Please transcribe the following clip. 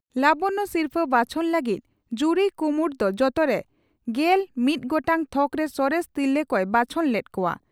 ᱞᱟᱵᱚᱱᱭᱚ ᱥᱤᱨᱯᱷᱟᱹ ᱵᱟᱪᱷᱚᱱ ᱞᱟᱹᱜᱤᱫ ᱡᱩᱨᱤ ᱠᱩᱢᱩᱴ ᱫᱚ ᱡᱚᱛᱚᱨᱮ ᱑᱑ ᱜᱚᱴᱟᱝ ᱛᱷᱚᱠᱨᱮ ᱥᱚᱨᱮᱥ ᱛᱤᱨᱞᱟᱹ ᱠᱚᱭ ᱵᱟᱪᱷᱚᱱ ᱞᱮᱫ ᱠᱚᱣᱟ ᱾